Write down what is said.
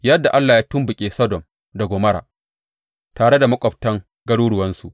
Yadda Allah ya tumɓuke Sodom da Gomorra tare da maƙwabtan garuruwansu,